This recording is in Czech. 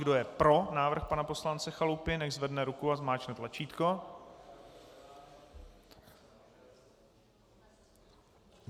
Kdo je pro návrh pana poslance Chalupy, nechť zvedne ruku a zmáčkne tlačítko.